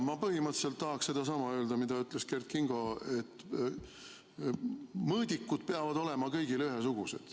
Ma põhimõtteliselt tahan öelda sedasama, mida ütles Kert Kingo, et mõõdikud peavad olema kõigile ühesugused.